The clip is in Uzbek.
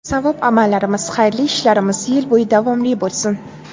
Savob amallarimiz, xayrli ishlarimiz yil bo‘yi davomli bo‘lsin.